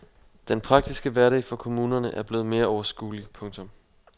Den praktiske hverdag for kommunerne er blevet mere overskuelig. punktum